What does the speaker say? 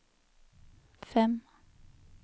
fem